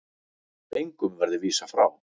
Engum verði vísað frá.